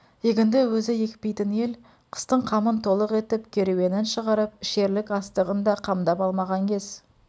егінді өзі екпейтін ел қыстың қамын толық етіп керуенін шығарып ішерлік астығын да қамдап алмаған кез